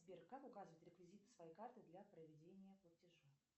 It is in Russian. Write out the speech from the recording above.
сбер как указывать реквизиты своей карты для проведения платежа